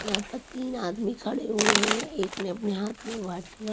यहाँ पर तीन आदमी खड़े हुए हैं एक ने अपने हाथ में वाइट कलर --